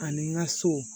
Ani n ka so